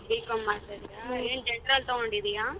B.com ಮಾಡ್ತಿದೀಯ ಏನ್ general ತಗೊಂಡಿದೀಯ?